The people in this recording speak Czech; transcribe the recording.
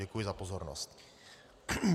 Děkuji za pozornost.